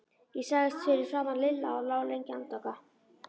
Ég lagðist fyrir framan Lilla og lá lengi andvaka.